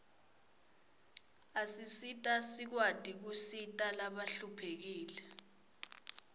asisita sikwati kusita labahluphekile